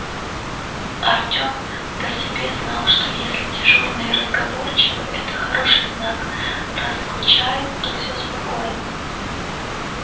артем по себе знал что если дежурные разговорчивы это хороший знак раз скучают то всё спокойно